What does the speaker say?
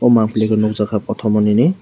mw mampli o nugjago potorma nini.